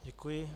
Děkuji.